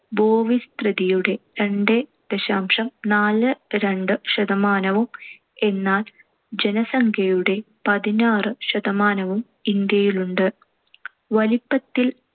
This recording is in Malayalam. ഭൂവിസ്തൃതിയുടെ രണ്ട് ദശാംശം നാല് രണ്ട് ശതമാനവും എന്നാൽ ജനസംഖ്യയുടെ പതിനാറ് ശതമാനവും ഇന്ത്യയിലുണ്ട്. വലിപ്പത്തിൽ